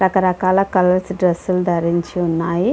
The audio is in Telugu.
రకరకాల కలర్స్ డ్రెస్సు లు ధరించి ఉన్నాయి.